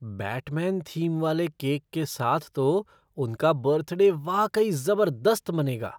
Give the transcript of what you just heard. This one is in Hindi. बैटमैन थीम वाले केक के साथ तो उनका बर्थडे वाकई ज़बरदस्त मनेगा!